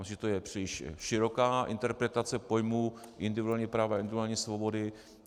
Myslím, že to je příliš široká interpretace pojmu individuálního práva, individuální svobody.